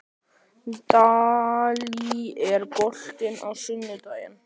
Dalí, er bolti á sunnudaginn?